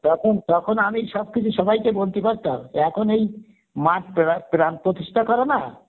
তখন তখন আমি সবকিছু সবাইকে বলতে পারতাম এখন এই মার পরা~ প্রাণ প্রতিষ্ঠা করা না